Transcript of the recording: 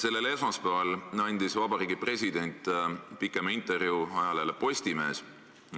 Sellel esmaspäeval andis Vabariigi President pikema intervjuu ajalehele Postimees.